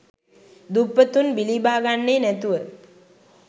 දුප්පතුන් බිලිබාගන්නේ නැතුව.